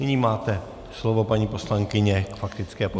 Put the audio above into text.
Nyní máte slovo, paní poslankyně, k faktické poznámce.